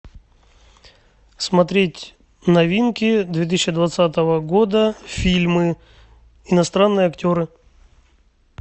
смотреть новинки две тысячи двадцатого года фильмы иностранные актеры